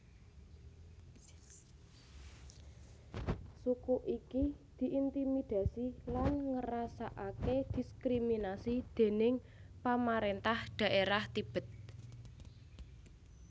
Suku iki diintimidasi lan ngrasakake diskriminasi déning pamarentah dhaerah Tibet